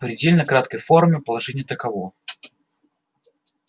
в предельно краткой форме положение таково